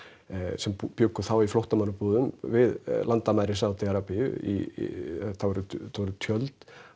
sem bjuggu þá í flóttamannabúðum við landamæri Sádi Arabíu þetta voru tjöld